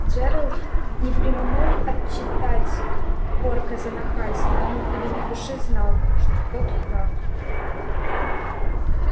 джералд не преминул отчитать порка за нахальство но в глубине души знал что тот прав